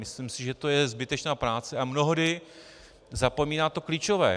Myslím si, že to je zbytečná práce a mnohdy zapomíná to klíčové.